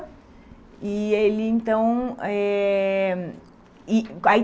E aí então eh e aí